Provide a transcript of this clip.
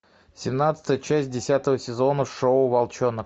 семнадцатая часть десятого сезона шоу волчонок